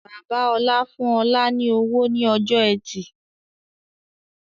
Bàbá ọ̀la fún ọ̀la ni owó ni ọjọ́ ẹtì